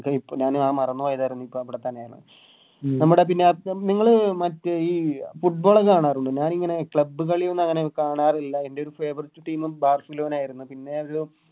അത് ഞാന് മറന്ന് പോയതാരുന്നു ഇപ്പവിടെത്തന്നെയാണ് നമ്മുടെ പന്നി നിങ്ങള് മറ്റേ ഈ Football ഒക്കെ കാണാറുണ്ടോ ഞാനിങ്ങളെ ഈ Club കളിയൊന്നും അങ്ങനെ കാണാറില്ല എൻറെ ഒരു Favourite team barcelona ആയിരുന്നു പിന്നെ അത്